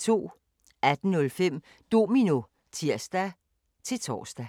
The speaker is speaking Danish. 18:05: Domino (tir-tor)